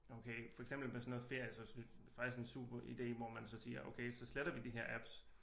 Okay for eksempel med sådan noget ferier så er det faktisk en super idé hvor man så siger okay så sletter vi de her apps